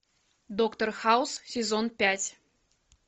доктор хаус сезон пять